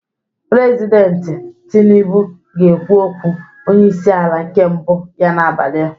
President tinubu ga-ekwu okwu onye isi ala nke mbụ ya n'abalị a